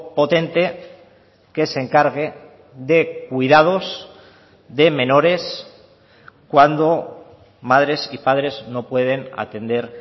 potente que se encargue de cuidados de menores cuando madres y padres no pueden atender